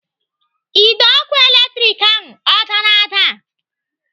Ide ọkụ latrik ahụ ọ dara ada?